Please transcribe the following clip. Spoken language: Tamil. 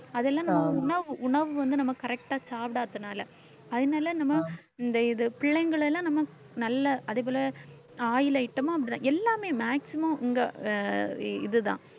அது எல்லாம் நம்ம உணவு உணவு வந்து நம்ம correct ஆ சாப்பிடாததுனால அதனால நம்ம இந்த இது பிள்ளைங்களை எல்லாம் நம்ம நல்ல அதே போல oil item மும் அப்படித்தான் எல்லாமே maximum உங்க அஹ் இதுதான்